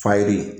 Fa ye